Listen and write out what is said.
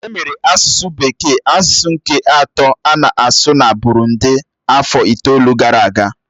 Emere asụsụ bekee asụsụ nke atọ a na-asụ na Burundị afọ itoolu gara aga.